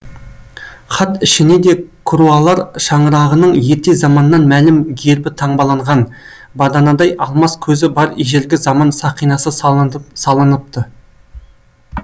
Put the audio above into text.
хат ішіне де круалар шаңырағының ерте заманнан мәлім гербі таңбаланған баданадай алмас көзі бар ежелгі заман сақинасы салыныпты